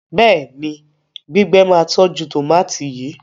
béèni gbígbé má tọjú tomati yí.